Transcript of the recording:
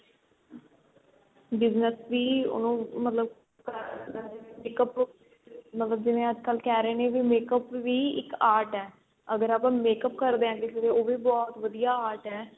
business ਵੀ ਉਹਨੂੰ ਮਤਲਬ ਕਰ ਸਕਦਾ ਏ makeup ਮਤਲਬ ਜਿਵੇਂ ਅੱਜਕਲ ਕਹਿ ਰਹੇ ਨੇ makeup ਵੀ ਇੱਕ art ਏ ਅਗਰ ਆਪਾਂ makeup ਕਰਦੇ ਆ ਕਿਸੇ ਦੇ ਉਹ ਵੀ ਬਹੁਤ ਵਧੀਆ art ਏ